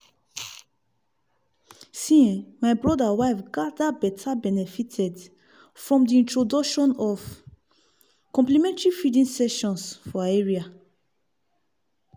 see eh my brother wife gather betta benefited from the introduction of complementary feeding sessions for her area.